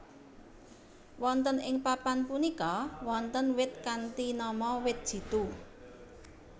Wonten ing papan punika wonten wit kanthi nama wit jitu